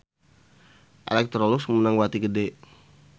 Electrolux meunang bati gede